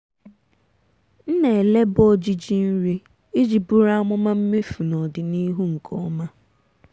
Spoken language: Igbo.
ha na-elekọta ịta ahịhịa anya iji zere ilo osisi ndị na-emerụ ahụ.